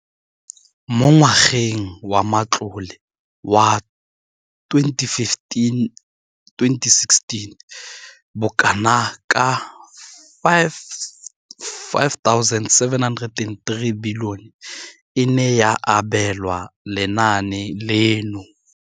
Mo ngwageng wa matlole wa 2015,16, bokanaka R5 703 bilione e ne ya abelwa lenaane leno.